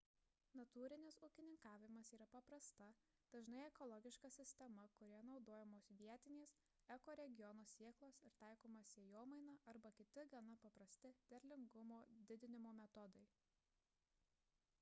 natūrinis ūkininkavimas yra paprasta dažnai ekologiška sistema kurioje naudojamos vietinės ekoregiono sėklos ir taikoma sėjomaina arba kiti gana paprasti derlingumo didinimo metodai